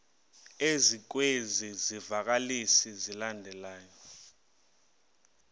ezikwezi zivakalisi zilandelayo